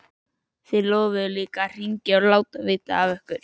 Þið lofuðuð líka að hringja og láta vita af ykkur.